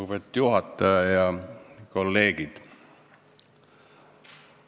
Lugupeetud juhataja ja kolleegid!